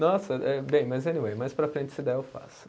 Nossa, eh bem, mas, anyway, mais para frente, se der, eu faço.